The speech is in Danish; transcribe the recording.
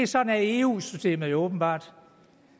sådan er eu systemet åbenbart